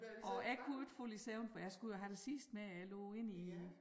Og jeg kunne ikke falde i søvn for jeg skulle have det sidste med jeg lå inde i